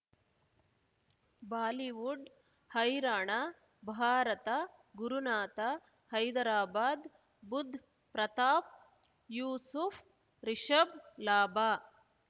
Bollywood ಹೈರಾಣ ಭಾರತ ಗುರುನಾಥ ಹೈದರಾಬಾದ್ ಬುಧ್ ಪ್ರತಾಪ್ ಯೂಸುಫ್ ರಿಷಬ್ ಲಾಭ